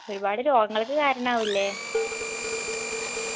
ഒരുപാട് രോഗങ്ങൾക്ക് കാരണാവുല്ലേ